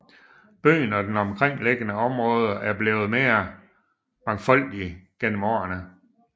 Byen og det omkringliggende område er blevet mere mangfoldigt gennem årene